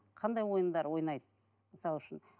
қандай ойындар ойнайды мысалы үшін